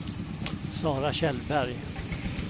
Sara Kjellberg